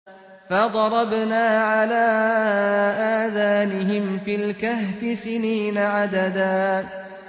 فَضَرَبْنَا عَلَىٰ آذَانِهِمْ فِي الْكَهْفِ سِنِينَ عَدَدًا